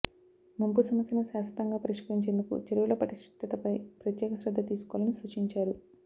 ముంపు సమస్యను శాశ్వతంగా పరిష్కరించేందుకు చెరువుల పటిష్టతపై ప్రత్యేక శ్రద్ద తీసుకోవాలని సూచించారు